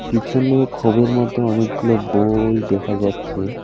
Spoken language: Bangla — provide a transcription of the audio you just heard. পিছনে খোবের মত অনেকগুলো বই দেখা যাচ্ছে।